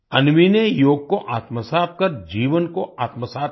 अन्वी ने योग को आत्मसात कर जीवन कोआत्मसात किया